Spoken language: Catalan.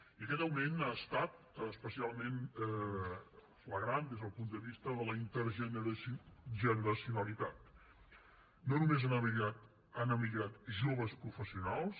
i aquest augment ha estat especialment flagrant des del punt de vista de la intergeneracionalitat no només han emigrat joves professionals